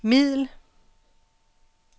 middel